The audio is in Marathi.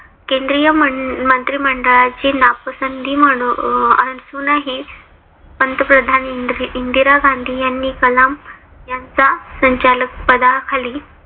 केंद्रीय मंत्रिमंडळाची नापसंती म्हणून असूनही पंतप्रधान इंदिरा गांधी यांनी कलाम यांचा संचालक पदाखाली